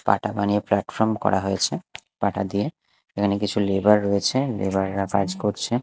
পাটা বানিয়ে প্ল্যাটফর্ম করা হয়েছে পাটা দিয়ে এখানে কিছু লেবার রয়েছে লেবার -রা কাজ করছে।